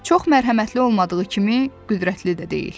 Çox mərhəmətli olmadığı kimi, qüdrətli də deyil.